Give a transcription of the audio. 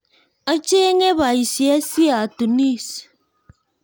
Achenge boisiet siatunis